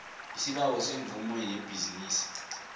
isibawo semvumo yebhizinisi